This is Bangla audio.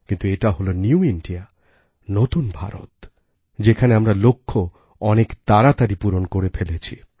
কিন্তু এটা হল নিউ ইন্ডিয়া নতুন ভারত যেখানে আমরা লক্ষ্য অনেক তাড়াতাড়ি পূরণ করে ফেলেছি